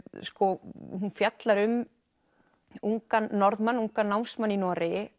sko hún fjallar um ungan Norðmann ungan námsmann í Noregi